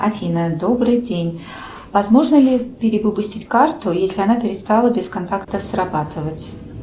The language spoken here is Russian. афина добрый день возможно ли перевыпустить карту если она перестала без контакта срабатывать